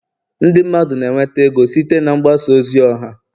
ndị mmadụ na-enweta ego site na mgbasa ozi ọha